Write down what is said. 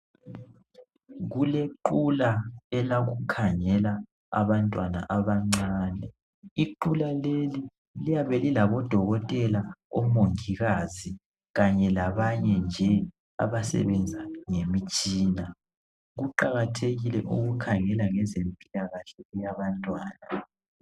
Kulequla elokukhangela abantwana abancane . Iqula leli liyabe lilabodokotela, omongikazi Kanye labanye nje abasebenza ngemitshina . Kuqakathekile ukukhangela ngezempilakahle yabantwana.